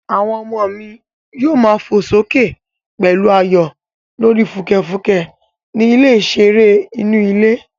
Àwọn ọmọ mi yóò má fò sókè pẹ̀lú ayọ̀ lórí fùkẹ̀fùkẹ̀ ní ilẹ̀ ìṣeré inú ilé